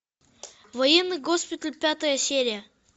военный госпиталь пятая серия